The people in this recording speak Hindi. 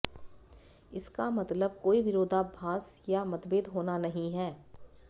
इसका मतलब कोई विरोधाभास या मतभेद होना नहीं है